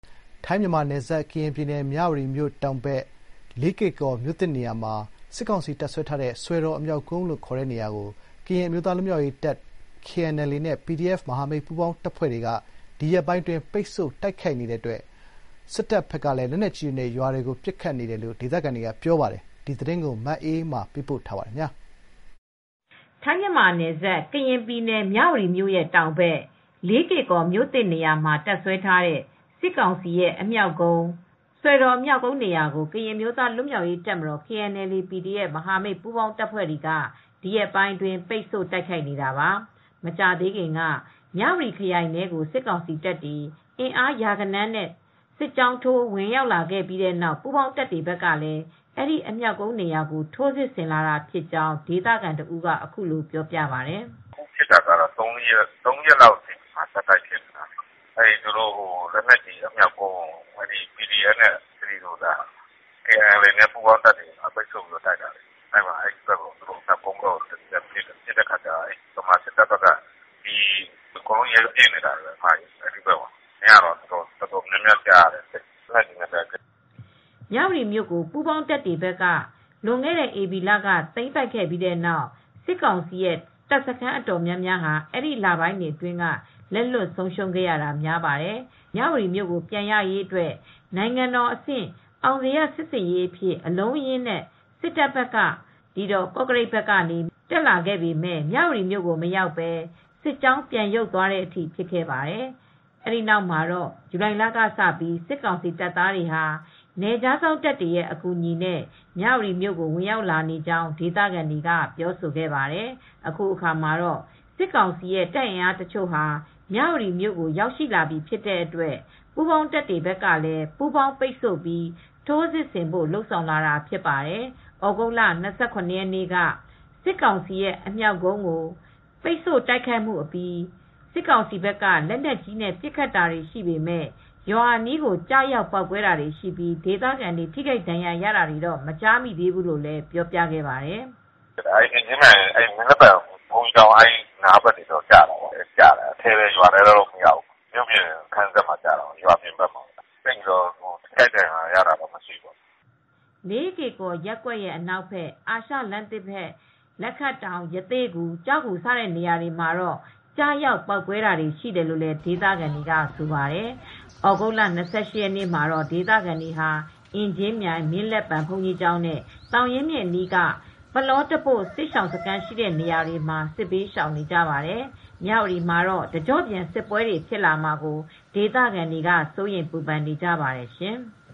ထိုင်းမြန်မာနယ်စပ် ကရင်ပြည်နယ် မြဝတီမြို့တောင်ဘက် လေးကေကော်မြို့သစ်နေရာမှာ တပ်စွဲထားတဲ့ စစ်ကောင်စီအမြောက်ကုန်း (စွယ်တော် အမြောက်ကုန်း) နေရာကို ကရင်အမျိုးသားလွတ်မြောက်ရေးတပ်မတော်- KNLA, PDF မဟာမိတ်ပူးပေါင်း တပ်ဖွဲ့တွေက ဒီရက်ပိုင်းအတွင်း ပိတ်ဆို့တိုက်ခိုက်နေတဲ့အတွက် မြန်မာစစ်တပ်ကလည်းလက်နက်ကြီးတွေနဲ့ ရွာတွေကို ပစ်ခတ်နေတယ်လို့ဆိုပါတယ်။ ဒီသတင်းကို ဗွီအိုအေသတင်းထောက်မအေးအေးမာက သတင်းပေးပို့ထားပါတယ်။ ထိုင်း-မြန်မာနယ်စပ် ကရင်ပြည်နယ် မြဝတီမြို့တောင်ဘက် လေးကေကော်မြို့သစ်နေရာမှာ တပ်စွဲထားတဲ့ စစ်ကောင်စီ အမြောက်ကုန်း (စွယ်တော် အမြောက်ကုန်း) နေရာကို ကရင်အမျိုးသားလွတ်မြောက်ရေးတပ်မတော်-KNLA, PDF မဟာမိတ်ပူးပေါင်း တပ်ဖွဲ့တွေက ဒီရက်ပိုင်းအတွင်းပိတ်ဆို့ တိုက်ခိုက်နေတာပါ။ မကြာသေးခင်က မြ၀တီခရိုင်ထဲကို စစ်ကောင်စီတပ်အင်အားရာဂဏန်းနဲ့ စစ်ကြောင်းထိုးဝင်လာပြီးတဲ့နောက် ပူးပေါင်းတပ်တွေကလည်း အဲဒီအမြောက်ကုန်းနေရာကို ထိုးစစ်ဆင်လာတာဖြစ်ကြောင်း ဒေသခံတဦးကအခုလိုပြောပါတယ်။ “ပစ်ခတ်နေတာကတော့ ပစ်နေတာက သုံးလေးရက်တော့ရှိပြီ။ သူတို့လက်နက်ကြီးအမြောက်ကုန်းကို KNLA-PDF ပူးပေါင်းတပ်တွေက ပိတ်ဆို့ပြီးဝင်တိုက်နေတာ။ ပစ်နေတော့ မြန်မာစစ်တပ်ဘက်ကလည်း ပြန်ပြီး ရမ်းသမ်းပစ်နေတာ။ မနေ့ညတုန်းကတော့ လက်နက်ကြီးသံတွေကြားနေရတယ်။” မြ၀တီမြို့ကို ပူးပေါင်းတပ်တွေဘက်က လွန်ခဲ့တဲ့ဧပြီလက သိမ်းပိုက်ပြီးတဲ့နောက် စစ်ကောင်စီရဲ့တပ်စခန်းအတော်များများဟာ အဲဒီ လပိုင်းတွေအတွင်းက လက်လွှတ်ဆုံးရှုံးခဲ့ရတာများပါတယ်။ စစ်ကောင်စီတပ်ဖွဲ့တွေဟာ မြ၀တီမြို့ကိုပြန်ရရေးအတွက် နိုင်ငံတော်အဆင့်အောင်ဇေယျစစ်ဆင်ရေးအဖြစ် ကော့ကရိတ်ဘက်ကနေ အလုံးအရင်းနဲ့တက်လာပေမယ့် မြ၀တီမြို့ကိုမရောက်ဘဲ စစ်ကြောင်းပြန်ရုပ်သွားတဲ့အထိဖြစ်ခဲ့ပါတယ်။ ဒီနောက်မှာတော့ ဇူလိုင်လကစပြီး စစ်ကောင်စီတပ်သားတွေဟာ နယ်ခြားစောင့်တပ်တွေရဲ့အကူအညီနဲ့မြ၀တီကို ဝင်ရောက်လာနေကြောင်း ဒေသခံတွေကပြောဆိုခဲ့ပါတယ်။ အခုအခါမှာ စစ်ကောင်စီရဲ့တပ်အင်အားတချို့ မြ၀တီမြို့ရောက်ရှိလာပြီဖြစ်တဲ့အတွက် ပူးပေါင်းတပ်တွေကလည်း ပူးပေါင်းပိတ်ဆို့ပြီး ထိုးစစ်ဆင်ဖို့လုပ်ဆောင်လာတာဖြစ်ပါတယ်။ ဩဂုတ်လ ၂၇ ရက်နေ့က စစ်ကောင်စီရဲ့အမြောက်ကုန်းကိုပိတ်ဆို့တိုက်ခိုက်ခဲ့ပြီး စစ်ကောင်စီဘက်က လက်နက်ကြီးနဲ့ပစ်ခတ်ခဲ့တာကြောင့် ရွာနားမှာ ကျရောက်ပေါက်ကွဲခဲ့ပေမဲ့ ဒေသခံတွေထိခိုက်ဒဏ်ရာရတာတော့ မကြားမိသေးဘူးလို့လည်း ပြောပြခဲ့ပါတယ်။ “မင်းလက်ပံဘုန်းကြီးကျောင်းတို့ဘက်တော့ ကျတာပေါ့။ ရွာထဲတော့မရောက်ဘူး။ မြို့ပြင်ဘက်ကိုတော့ကျတယ်။ဒါပေမယ့် ထိခိုက်ဒဏ်ရာတယ်လို့တော့ မကြားမိသေးဘူး။” လေးကေကော် ရပ်ကွက်အနောက်ဘက်၊ အာရှလမ်းသစ်ဘက် လက်ခတ်တောင်၊ ရသေ့ဂူ၊ ကျောက်ဂူနေရာတွေမှာ ကျရောက်ပေါက်ကွဲတာတွေ ရှိတယ်လို့ဒေသခံတွေကဆိုပါတယ်။ ဩဂုတ်လ ၂၈ ရက်မှာတော့ ဒေသခံတွေဟာ အင်ကြင်းမြိုင်၊ မင်းလက်ပံ ဘုန်းကြီးကျောင်းနဲ့ သောင်ရင်းမြစ်အနီးက ပလော့တပို့စစ်ရှောင်စခန်းရှိရာ နေရာတွေမှာ စစ်ဘေးရှောင်နေကြပါတယ်။ မြ၀တီမှာတော့ တကျော့ပြန် စစ်ပွဲတွေဖြစ်လာမှာကို ဒေသခံတွေကစိုးရိမ်ပူပန်နေကြပါတယ်ရှင်။